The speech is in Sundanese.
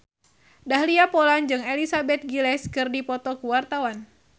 Dahlia Poland jeung Elizabeth Gillies keur dipoto ku wartawan